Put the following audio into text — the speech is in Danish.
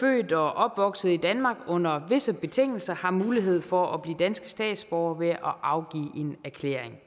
født og opvokset i danmark under visse betingelser har mulighed for at blive danske statsborgere ved at afgive en erklæring